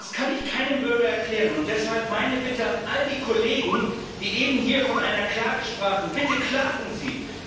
Das kann ich keinem Bürger erklären. Deshalb meine Bitte an all die Kollegen, die eben hier von einer Klage sprachen Bitte klagen Sie!